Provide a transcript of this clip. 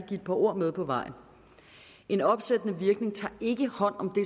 give et par ord med på vejen en opsættende virkning tager ikke hånd om